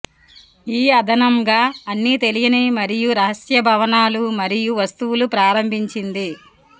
ఈ అదనంగా అన్ని తెలియని మరియు రహస్య భవనాలు మరియు వస్తువులు ప్రారంభించింది